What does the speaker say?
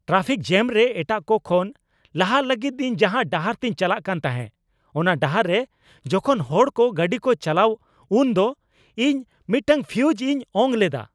Traffic jam ᱨᱮ ᱮᱴᱟᱜ ᱠᱚ ᱠᱷᱚᱱ ᱞᱟᱦᱟᱜ ᱞᱟᱹᱜᱤᱫ ᱤᱧ ᱡᱟᱦᱟᱸ ᱰᱟᱦᱟᱨ ᱛᱤᱧ ᱪᱟᱞᱟᱜ ᱠᱟᱱ ᱛᱟᱦᱮᱸ, ᱚᱱᱟ ᱰᱟᱦᱟᱨ ᱨᱮ ᱡᱚᱠᱷᱚᱱ ᱦᱚᱲ ᱠᱚ ᱜᱟᱹᱰᱤᱠᱚ ᱪᱟᱞᱟᱣᱟ ᱩᱱᱫᱚ ᱤᱧ ᱢᱤᱫᱴᱟᱝ ᱯᱷᱤᱭᱩᱡᱽ ᱤᱧ ᱚᱝ ᱞᱮᱫᱟ ᱾